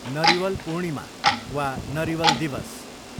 नरिवल पूर्णिमा वा नरिवल दिवस